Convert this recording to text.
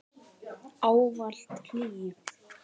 Ávallt hlý.